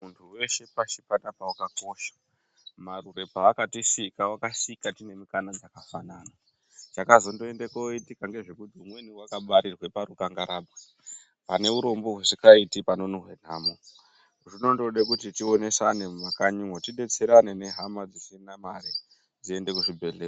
Muntu weshe pasi panapa akakosha. Marure paakatisika wakasika tine mukana dzakafanana chakazoenda kuzondoitika ndechekuti vamweni vakabarirwa parukanga rabwe paneurombo husingaite panonhuwa nhamo. Zvinongode kuti tionesane mumakanyi mwo tidetserane nehama dzisina mari dziende kuzvibhdehlera .